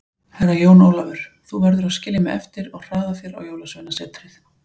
Herra Jón Ólafur, þú verður að skilja mig eftir og hraða þér á Jólasveinasetrið.